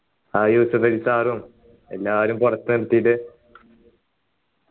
ആ യൂസഫലി sir ഉം എല്ലാരും പുറത്തു നിർത്തീട്ട്